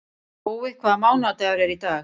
Gói, hvaða mánaðardagur er í dag?